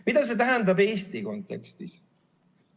Mida see tähendab Eesti kontekstis?